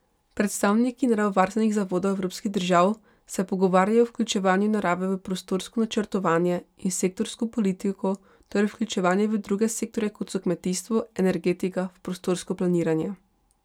Predstavniki naravovarstvenih zavodov evropskih držav se pogovarjajo o vključevanju narave v prostorsko načrtovanje in sektorsko politiko, torej vključevanje v druge sektorje kot so kmetijstvo, energetika, v prostorsko planiranje.